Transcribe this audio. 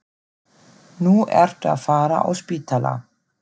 Nú ertu að fara á spítala